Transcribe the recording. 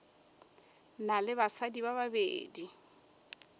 na le basadi ba babedi